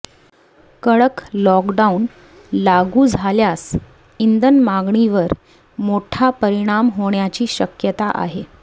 कडक लॉकडाउन लागू झाल्यास इंधन मागणीवर मोठा परिणाम होण्याची शक्यता आहे